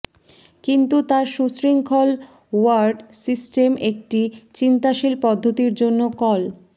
কিন্তু তার সুশৃঙ্খল ওয়্যার্ড সিস্টেম একটি চিন্তাশীল পদ্ধতির জন্য কল